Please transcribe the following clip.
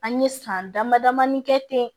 An ye san dama damanin kɛ ten